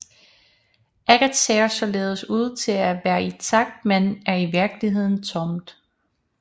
Ægget ser således ud til at være intakt men er i virkeligheden tomt